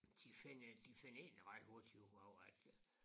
De finder de finder egentlig ret hurtigt ud af at øh